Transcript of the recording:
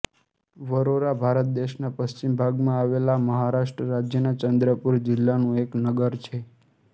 વરોરા ભારત દેશના પશ્ચિમ ભાગમાં આવેલા મહારાષ્ટ્ર રાજ્યના ચંદ્રપૂર જિલ્લાનું એક નગર છે